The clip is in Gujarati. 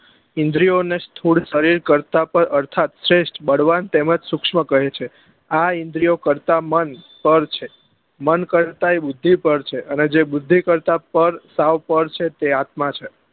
ઈન્દ્રીઓ ને સ્થુર સરીર કરતા પણ અર્થાત શ્રેષ્ઠ બળવાન તેમજ સુક્ષ્મ કહે છે આ ઈન્દ્રીઓ કરતા મન પળ છે મન અર્તા એ બુદ્ધિ પળ છે અને જે બુદ્ધિ કરતા પળ સાવ પળ છે તે આત્મા છે